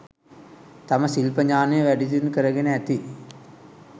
තම ශිල්ප ඥානය, වැඩිදියුණු කරගෙන ඇති